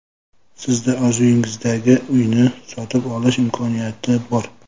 Sizda orzuyingizdagi uyni sotib olish imkoniyati bor!